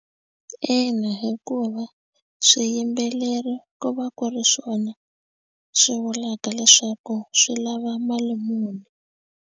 Ina, hikuva swiyimbeleri ko va ku ri swona swi vulaka leswaku swi lava mali muni.